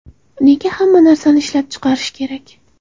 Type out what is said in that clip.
Nega hamma narsani ishlab chiqarish kerak?